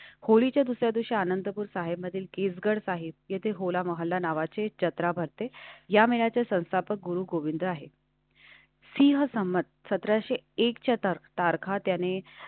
होळीच्या दुसऱ्या दिवशी आनंदपुर साहिबमधील कीस गड आहे. येथे होला महल्ला नावाची जत्रा भरते. या महिन्याच्या संस्थापक गुरुगोविंद हेसी हसमत सतराशे एक चे तर्क तार खात्याने.